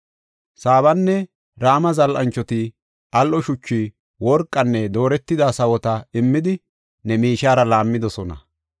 Saabanne Rama zal7anchoti al7o shuchu, worqanne dooretida sawota immidi, ne miishiyara laammidosona.